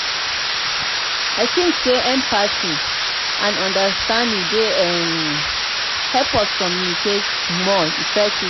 i dey think say empathy and understanding dey um help us communicate more effectively.